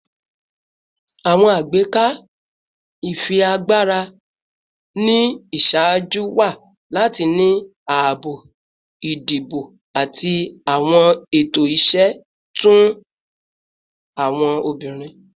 Awọn agbeka ifiagbara ni iṣaaju wa lati ni aabo idibo ati awọn ẹtọ iṣẹ fun awọn obinrin